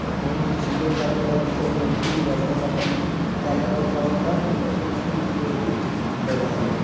बहुत ही सुन्दर लगता के सब लड़की लोग आपन -आपन कला देखावता और स्कूल के भी बधाई बा।